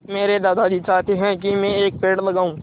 मेरे दादाजी चाहते हैँ की मै एक पेड़ लगाऊ